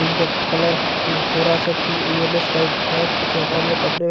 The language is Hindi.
इनका कलर अं थोड़ा सा पिल येलो सटाइप है कुछ यहाँ पर हम लोग कपड़े --